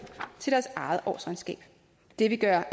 til deres eget årsregnskab det vil gøre